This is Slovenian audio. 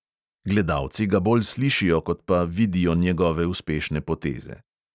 Gledalci ga bolj slišijo, kot pa vidijo njegove uspešne poteze.